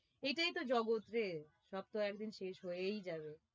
এটাই তো জগৎ রে সব তো একদিন শেষ হয়েই যাবে